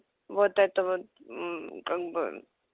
вот этого как бы